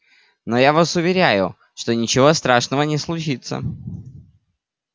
но я вас уверяю что ничего страшного не случится